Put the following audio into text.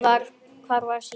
Hvar var síminn?